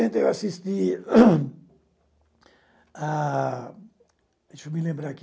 sessenta, eu assisti a... Deixe-me lembrar aqui.